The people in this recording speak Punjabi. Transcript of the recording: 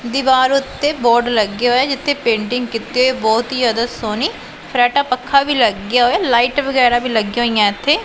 ਦੀਵਾਰ ਉੱਤੇ ਬੋਰਡ ਲੱਗੇ ਹੋਏ ਐ ਜਿੱਥੇ ਪੇਂਟਿੰਗ ਕੀਤੀ ਏ ਬਹੁਤ ਹੀ ਜਿਆਦਾ ਸੋਹਣੀ ਫਰਾਟਾ ਪੱਖਾ ਵੀ ਲੱਗਿਆ ਹੋਇਆ ਲਾਈਟ ਵਗੈਰਾ ਵੀ ਲੱਗੀਆਂ ਹੋਈਆਂ ਇੱਥੇ।